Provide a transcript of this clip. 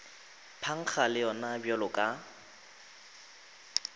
phankga le yona bjalo ka